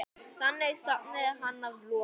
Þannig sofnaði hann að lokum.